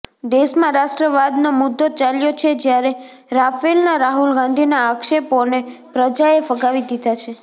દેશમાં રાષ્ટ્રવાદનો મુદ્દો ચાલ્યો છે જ્યારે રાફેલના રાહુલ ગાંધીના આક્ષેપોને પ્રજાએ ફગાવી દીધા છે